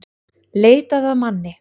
Leitað að manni